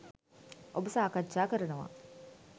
ඔබ සාකච්ජා කරනවා.